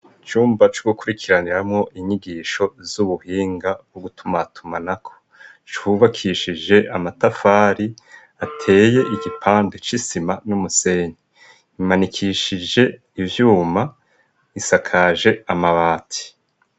icumba cugukurikiraniramwo inyigisho z'ubuhinga wo gutumatumanako cubakishije amatafari ateye igipande c'isima n'umusenyi imanikishije ivyuma isakaje amabati